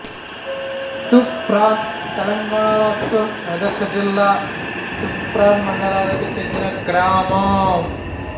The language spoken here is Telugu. తూప్రాన్ తెలంగాణ రాష్ట్రం మెదక్ జిల్లా తూప్రాన్ మండలానికి చెందిన గ్రామం